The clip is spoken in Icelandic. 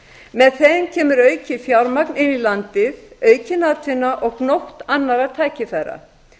með þeim kemur aukið fjármagn inn í landið aukin atvinna og gnótt annarra tækifæra